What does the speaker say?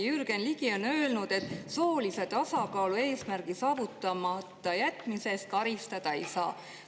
Jürgen Ligi on öelnud, et soolise tasakaalu eesmärgi saavutamata jätmise eest karistada ei saa.